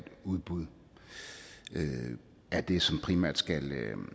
udbud er det som dsb primært skal